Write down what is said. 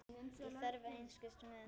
Ég þarf einskis með.